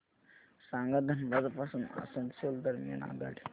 सांगा धनबाद पासून आसनसोल दरम्यान आगगाडी